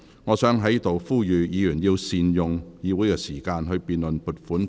我想在此呼籲議員要善用議會時間，審議撥款條例草案。